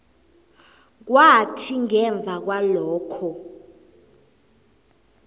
kwathi ngemva kwalokho